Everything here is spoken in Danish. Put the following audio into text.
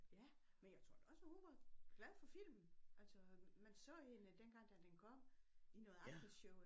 Ja men jeg tror da også at hun var glad for filmen altså man så hende dengang da den kom i noget aftenshow